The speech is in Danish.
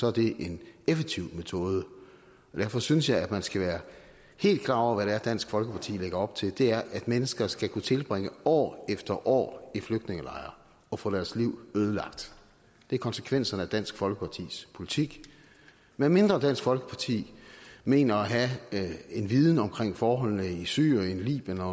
er det en effektiv metode derfor synes jeg at man skal være helt klar over hvad det er dansk folkeparti lægger op til og det er at mennesker skal kunne tilbringe år efter år i flygtningelejre og få deres liv ødelagt det er konsekvenserne af dansk folkepartis politik medmindre dansk folkeparti mener at have en viden om forholdene i syrien libyen og